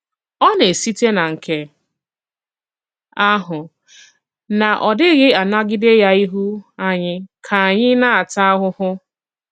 Ọ na-esìtè na nke àhụ, na ọ̀ dịghị̀ anàgìdé ya ịhụ ànyị̀ ka ànyị̀ na-àtà àhụhụ.